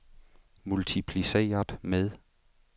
multipliceret med